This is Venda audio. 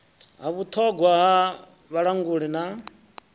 ha vhuṱhogwa ha vhalanguli na